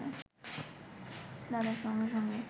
দাদা সঙ্গে সঙ্গে